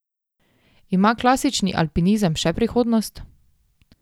Ima klasični alpinizem še prihodnost?